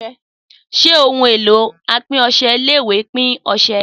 Sé ohun èlò apin ọsẹ ilé ìwè ń pin ọsẹ?